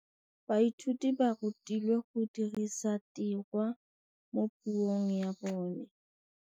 Baithuti ba rutilwe go dirisa tirwa mo puong ya bone.